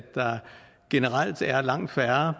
der generelt er langt færre